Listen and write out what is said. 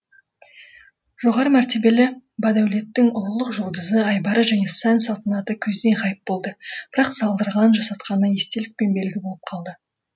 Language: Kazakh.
жоғары мәртебелі бадәулеттің ұлылық жұлдызы айбары және сән салтанаты көзден ғайып болды бірақ салдырған жасатқаны естелік пен белгі болып қалды